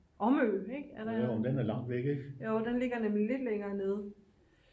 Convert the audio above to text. omø ik jo den ligger nemlig lidt længere nede